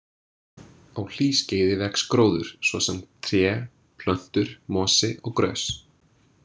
Á hlýskeiði vex gróður, svo sem tré, plöntur, mosi og grös.